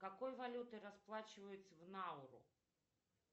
какой валютой расплачиваются в науру